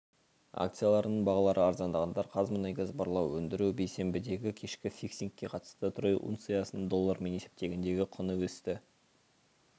акцияларының бағалары арзандағандар қазмұнайгаз барлау өндіру бейсенбідегі кешкі фиксингке қатысты трой унциясының доллармен есептегендегі құны өсті